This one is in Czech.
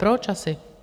Proč asi?